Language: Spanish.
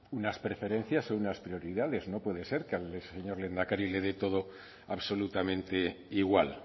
unas preferencias y unas prioridades no puede ser que al señor lehendakari le dé todo absolutamente igual